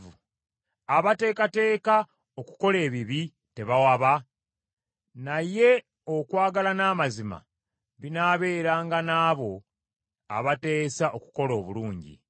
Abateekateeka okukola ebibi, tebawaba? Naye okwagala n’amazima binaabeeranga n’abo abateesa okukola obulungi.